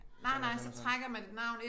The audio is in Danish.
Sådan og sådan og sådan